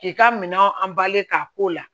K'i ka minɛnw k'a k'o la